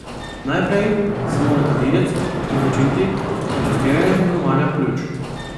Najprej se mora kadilec odločiti za testiranje delovanja pljuč.